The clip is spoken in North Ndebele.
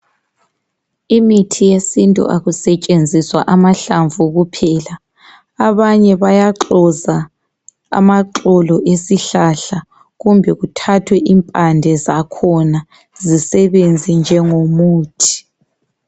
imithi yesintu akusetshenziswa amahlamvu kuphela abanye bayaxoza amaxolo esihlahla kumbe kuthathwe impande zakhona zisebenze njengo muthi